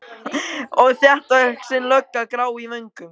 Og þéttvaxin lögga, grá í vöngum.